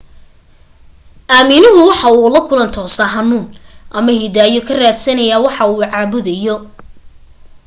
aaminuhu waxa uu la kulan toosa hanuun ama hidaayo ka raadsanayaa waxa uu caabudayo